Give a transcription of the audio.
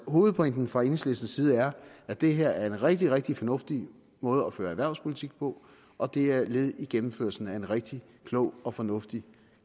hovedpointen fra enhedslistens side er at det her er en rigtig rigtig fornuftig måde at føre erhvervspolitik på og det er et led i gennemførelsen af en rigtig klog og fornuftig